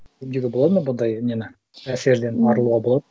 емдеуге болады ма бұндай нені әсерден арылуға болады